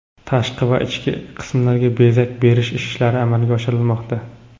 tashqi va ichki qismlarga bezak berish ishlari amalga oshirilmoqda.